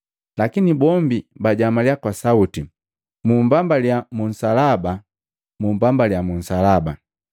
Lakini bombi bajamalya kwa sauti, “Mumbambaliya mu nsalaba! Mumbambaliya mu nsalaba!”